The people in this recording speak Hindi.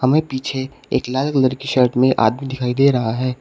हमें पीछे एक लाल कलर की शर्ट में आदमी दिखाई दे रहा है।